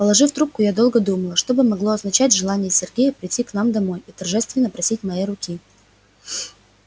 положив трубку я долго думала что бы могло означать желание сергея прийти к нам домой и торжественно просить моей руки